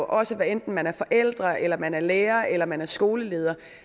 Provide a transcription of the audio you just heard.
også hvad enten man er forældre eller man er lærer eller man er skoleleder